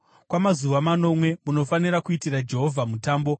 Kwamazuva manomwe munofanira kuitira Jehovha mutambo.